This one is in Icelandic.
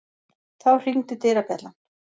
Þá hringdi dyrabjallan.